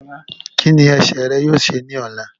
Kí ni ẹsẹ̀ rẹ yóò ṣe ní ọ̀la?